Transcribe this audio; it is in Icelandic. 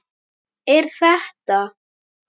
Er þetta.